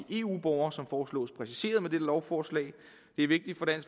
eu borgere som foreslås præciseret med dette lovforslag det er vigtigt